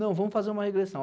Não, vamos fazer uma regressão.